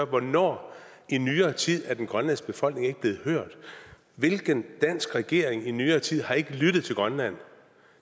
hvornår i nyere tid er den grønlandske befolkning ikke blevet hørt hvilken dansk regering har i nyere tid ikke lyttet til grønland